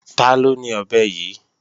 Taló ni ọ̀bẹ yí?